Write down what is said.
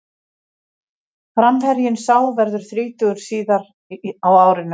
Framherjinn sá verður þrítugur síðar á árinu.